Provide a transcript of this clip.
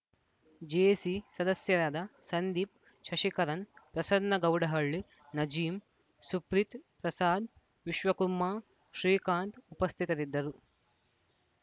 JC ಸದಸ್ಯರಾದ ಸಂದೀಪ್‌ ಶಶಿಕರಣ್‌ ಪ್ರಸನ್ನ ಗೌಡಹಳ್ಳಿ ನಜೀಂ ಸುಪ್ರಿತ್‌ ಪ್ರಸಾದ್‌ ವಿಶ್ವಕುಮಾರ್‌ ಶ್ರೀಕಾಂತ್‌ ಉಪಸ್ಥಿತರಿದ್ದರು